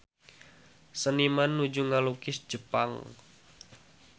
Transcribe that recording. Seniman nuju ngalukis Jepang